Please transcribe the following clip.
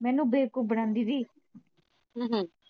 ਮੈਨੂੰ ਬੇਵਕੂਫ ਬਣਾਂਦੀ ਸੀ